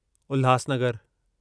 उल्हासनगरु